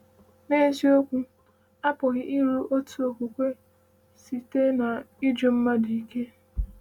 “N’eziokwu, a pụghị iru otu okwukwe site n’ịjụ mmadụ ike.”